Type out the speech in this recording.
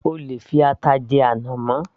O lè fi ata jẹ ànàmọ́